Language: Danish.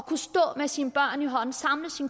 sin